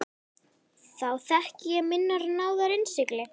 Þá þekki ég minnar náðar innsigli.